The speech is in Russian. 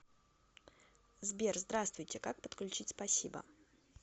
сбер здравствуйте как подключить спасибо